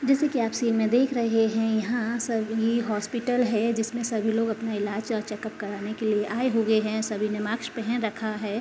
जैसे कि आप सीन में आप देख रहे हैं। यहाँ सब ये हॉस्पिटल है। जिसमे सभी लोग अपने इलाज और चेकउप करने के लिए आये हुए हैं। सभी ने मास्क पहन रखा है।